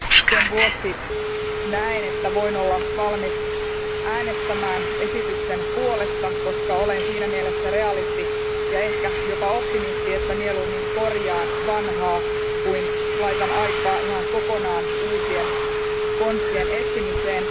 Sen vuoksi näen, että voin olla valmis äänestämään esityksen puolesta, koska olen siinä mielessä realisti ja ehkä jopa optimisti, että mieluummin korjaan vanhaa kuin laitan aikaa ihan kokonaan uusien konstien etsimiseen.